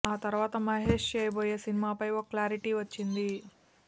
ఆ తరవాత మహేష్ చేయబోయే సినిమాపై ఓ క్లారిటీ వచ్చింది